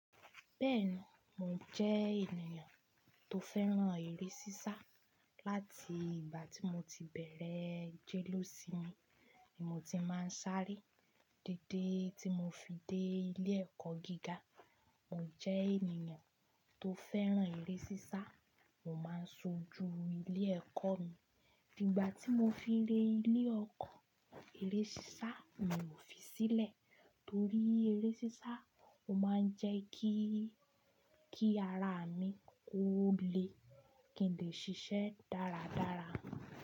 Bẹ́ẹ̀ni, mò jẹ́ ènìyàn tó fẹ́ràn eré sísá láti ìgbà tí mo ti bẹ̀rẹ̀ jẹ́le ósními ni mo ti máa ń sáré. Dédé tí mo fi dé ilé ẹ̀kọ́ gíga, mò jẹ́ ènìyàn tó fẹ́ràn eré sísá. Mo máa ń sojú ilé ẹ̀kọ́ mi. Nígbà tí mo fi re ilé okọ́, eré sísá mi ò fi sílẹ̀ torí eré sísá, ó máa ń jẹ́ kí, kí ara mi kó le kín lè ṣiṣẹ́ dáradára.